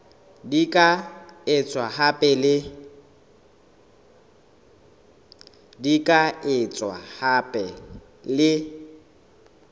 di ka etswa hape le